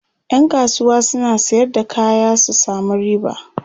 ƴan kasuwa suna Sayar da kaya su samu riba